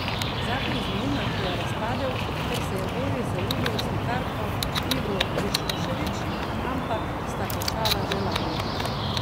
Zakon z novinarko je razpadel, ker se je Boris zaljubil v slikarko Ivu Višošević, ampak, sta končala že lani.